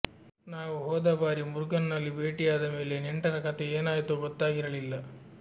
ನಾವು ಹೋದ ಬಾರಿ ಮುರುಗನ್ನಲ್ಲಿ ಭೇಟಿಯಾದ ಮೇಲೆ ನೆಂಟರ ಕಥೆ ಏನಾಯ್ತೊ ಗೊತ್ತಾಗಿರಲಿಲ್ಲ